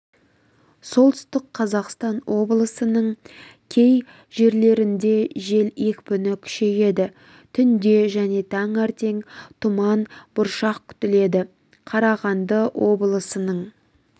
солтүстік қазақстан облысының кей жерлерінде жел екпіні күшейеді түнде және таңертең тұман бұршақ күтіледі қарағанды облысының